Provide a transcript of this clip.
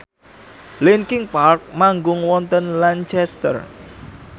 linkin park manggung wonten Lancaster